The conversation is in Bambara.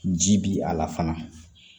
Ji bi a la fana